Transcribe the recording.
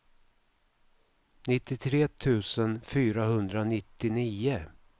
nittiotre tusen fyrahundranittionio